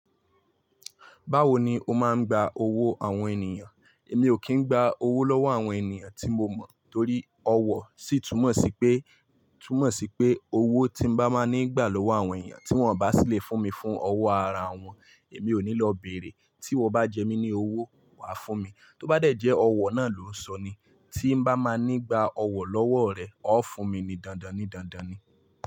Báwo ni o máa ń gba owó àwọn ènìyàn? Èmi ò kí ń gba owó lọ́wọ́ àwọn ènìyàn tí mo mọ̀ torí ọ wọ̀ sí túmọ̀ sí pé, túmọ̀ sí pé owó tí n bá máa ní gbà lọ́wọ́ àwọn ènìyàn tí wọ́n bá sì lè fún mi fún ọwọ́ ara wọn, èmi ò ní lọ bèrè. Tí wo bá jẹ mí ní owó, wàá fún mi. Tó bá dẹ̀ jẹ́ ọwọ̀ náà ló sọ ni. Tí n bá máa ní gba ọwọ̀ lọ́wọ́ rẹ, ó fún mi ni dandan ni dandan ni.